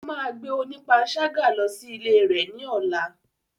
Ó máa gbé onípanṣágà lọ sí ilé rẹ̀ ní ọ̀la.